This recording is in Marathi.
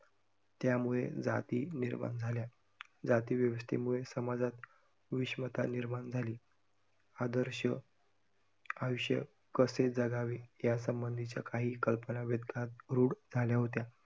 त्यामुळे जाती निर्माण झाल्या. जाती व्यवस्थेमुळे समाजात विषमता निर्माण झाली. आदर्श आयुष्य कसे जगावे? यासंबंधीच्या काही कल्पना रूढ झाल्या होत्या.